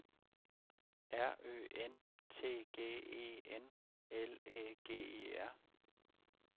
R Ø N T G E N L Æ G E R